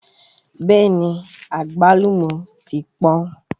Bẹ́ẹ̀ni àgbálùmọ́ ti pọ́n